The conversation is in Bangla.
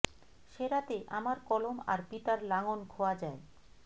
সে রাতে আমার কলম আর পিতার লাঙল খোয়া যায়